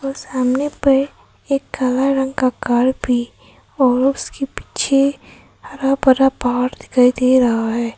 सामने पर एक काला रंग का कार भी और उसके पीछे हरा भरा पहाड़ दिखाई दे रहा है।